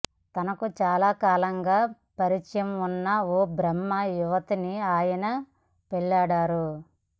తనకు చాలా కాలంగా పరిచయం ఉన్న ఓ బ్రాహ్మణ యువతిని ఆయన పెళ్లాడారు